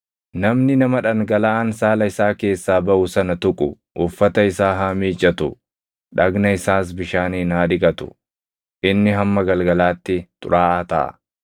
“ ‘Namni nama dhangalaʼaan saala isaa keessaa baʼu sana tuqu uffata isaa haa miiccatu; dhagna isaas bishaaniin haa dhiqatu; inni hamma galgalaatti xuraaʼaa taʼa.